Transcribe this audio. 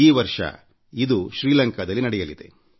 ಈ ವರ್ಷ ಇದು ಶ್ರೀಲಂಕಾದಲ್ಲಿ ನಡೆಯಲಿದೆ